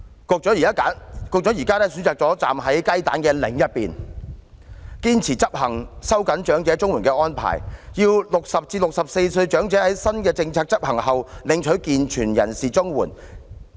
局長現時選擇站在雞蛋的另一方，堅持執行收緊長者綜援的安排，要60歲至64歲長者在新政策執行後領取健全人士綜援。